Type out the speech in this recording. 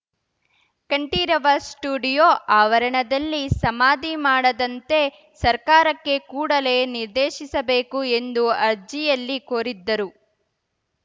Kanteerava studio ಆವರಣದಲ್ಲಿ ಸಮಾಧಿ ಮಾಡದಂತೆ ಸರ್ಕಾರಕ್ಕೆ ಕೂಡಲೇ ನಿರ್ದೇಶಿಸಬೇಕು ಎಂದು ಅರ್ಜಿಯಲ್ಲಿ ಕೋರಿದ್ದರು